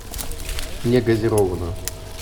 негазированную